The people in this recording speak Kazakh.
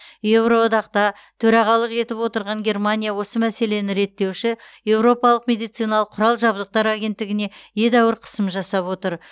еуроодақта төрағалық етіп отырған германия осы мәселені реттеуші еуропалық медициналық құрал жабдықтар агеттігіне едәуір қысым жасап отыр